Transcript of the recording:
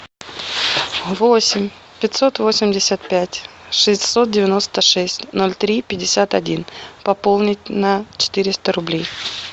восемь пятьсот восемьдесят пять шестьсот девяносто шесть ноль три пятьдесят один пополнить на четыреста рублей